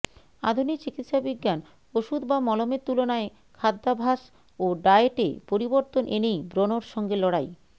আধুনিক চিকিৎসাবিজ্ঞান ওষুধ বা মলমের তুলনায় খাদ্যাভ্যাস ও ডায়েটে পরিবর্তন এনেই ব্রণর সঙ্গে লড়াই